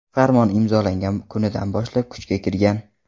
Farmon imzolangan kunidan boshlab kuchga kirgan.